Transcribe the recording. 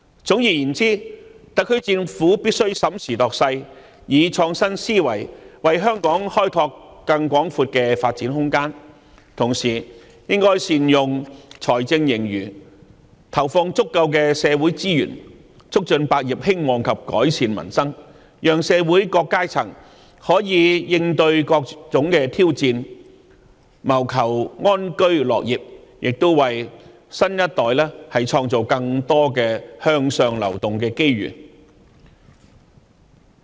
總而言之，特區政府必須審時度勢，以創新思維為香港開拓更廣闊的發展空間，同時亦應善用財政盈餘，投放足夠的社會資源，促進百業興旺及改善民生，讓社會各階層可以應對各種挑戰，謀求安居樂業，亦為新一代創造更多向上流動的機遇。